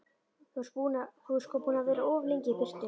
Þú ert sko búinn að vera of lengi í burtu.